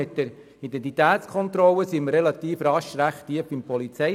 Mit der Identitätskontrolle bewegen wir uns rasch einmal in die Nähe der Polizeiarbeit.